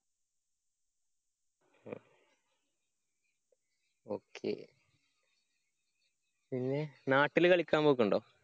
ok പിന്നെ നാട്ടില് കളിക്കാന്‍ പോക്കുണ്ടോ?